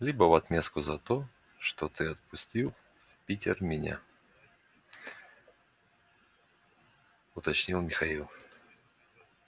либо в отместку за то что ты отпустил в питер меня уточнил михаил